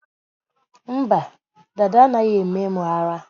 Mba, dada anaghị eme m ara